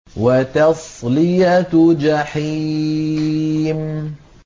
وَتَصْلِيَةُ جَحِيمٍ